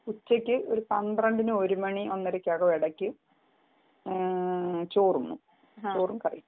ഉച്ചക്ക് ഒരു പന്ത്രണ്ട് മാണി ഒന്നരകം ചോറ് തിന്നും ചോറും കറിയും